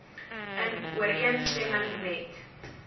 in ooreenstemming met